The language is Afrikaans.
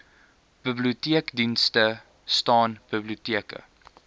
biblioteekdiens staan biblioteke